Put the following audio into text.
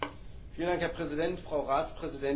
Herr Präsident, Frau Ratspräsidentin!